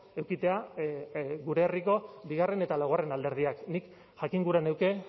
edukitzea gure herriko bigarren eta laugarren alderdiak nik jakin gura nuke